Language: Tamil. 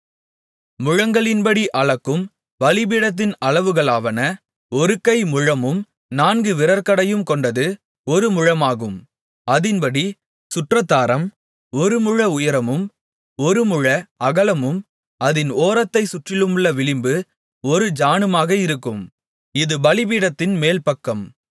முழங்களின்படி அளக்கும் பலிபீடத்தின் அளவுகளாவன ஒரு கை முழமும் நான்கு விரற்கடையும் கொண்டது ஒரு முழமாகும் அதின்படி சுற்றாதாரம் ஒரு முழ உயரமும் ஒரு முழ அகலமும் அதின் ஓரத்தைச் சுற்றிலுமுள்ள விளிம்பு ஒரு ஜாணுமாக இருக்கும் இது பலிபீடத்தின் மேல்பக்கம்